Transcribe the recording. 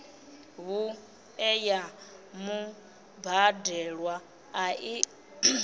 vhuṋe ya mubadelwa a i